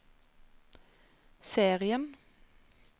serien